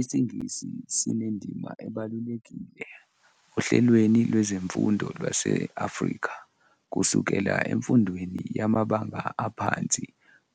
IsiNgisi sinendima ebalulekile ohlelweni lwezemfundo lwase-Afrika, kusukela emfundweni yamabanga aphansi